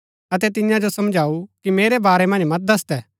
अतै तियां जो समझाऊ कि मेरै बारै मन्ज मत दसदै